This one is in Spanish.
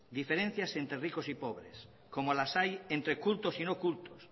diferencias entre ricos y pobres como las hay entre cultos y no cultos